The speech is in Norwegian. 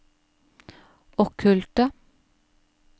okkulte